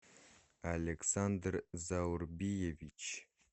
александр заурбиевич